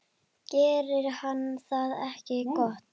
Gerir hann það ekki gott?